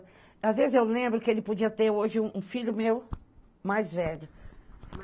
Às vezes eu lembro que ele podia ter hoje um um filho meu mais velho.